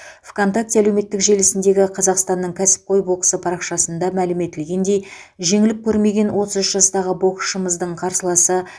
вконтакте әлеуметтік желісіндегі қазақстанның кәсіпқой боксы парақшасында мәлім етілгендей жеңіліп көрмеген отыз үш жастағы боксшымыздың қарсыласы